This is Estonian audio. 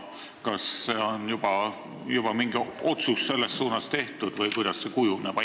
Kas selle kohta on juba mingi otsus tehtud või kuidas see kujuneb?